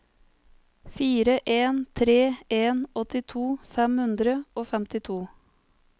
fire en tre en åttito fem hundre og femtito